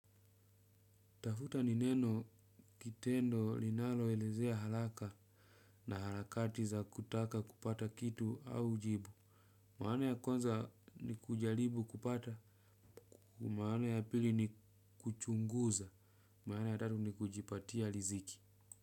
Tafuta ni neno kitendo linalo elezea haraka na harakati za kutaka kupata kitu au jibu. Maana ya kwanza ni kujaribu kupata, maana ya pili ni kuchunguza, maana ya tatu ni kujipatia riziki.